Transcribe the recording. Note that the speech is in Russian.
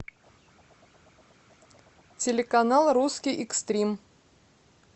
телеканал русский экстрим